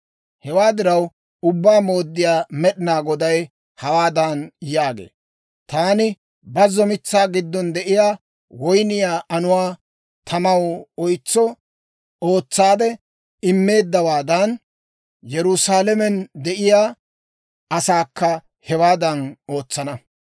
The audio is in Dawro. «Hewaa diraw, Ubbaa Mooddiyaa Med'inaa Goday hawaadan yaagee; ‹Taani bazzo mitsaa giddon de'iyaa woyniyaa anuwaa tamaw oysetso ootsaade immeeddawaadan, Yerusaalamen de'iyaa asaakka hewaadan ootsana.